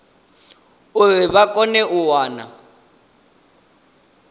uri vha kone u wana